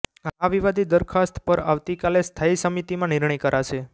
આ વિવાદી દરખાસ્ત પર આવતીકાલે સ્થાયી સમિતિમાં નિર્ણય કરાશે